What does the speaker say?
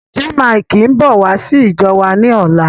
Jaymikee ń bọ̀ wá sí ìjọ wa ni ọ̀la.